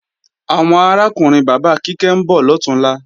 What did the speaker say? Àwọn arákùnrin bàbá Kíkẹ́ ń bọ̀ lọ̀túnla